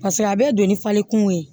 Paseke a bɛ don ni fali kungo ye